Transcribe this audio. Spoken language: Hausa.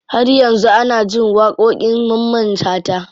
Har yanzu ana jin waƙoƙin mamman shata.